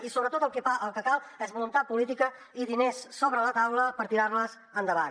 i sobretot el que cal és voluntat política i diners sobre la taula per tirar les endavant